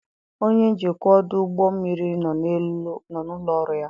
Onye njikwa ọdụ ụgbọ mmiri nọ n'ụlọ ọrụ ya.